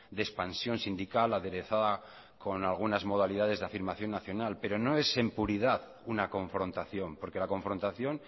de expansión sindical aderezada con algunas modalidades de afirmación nacional pero no es en puridad una confrontación porque la confrontación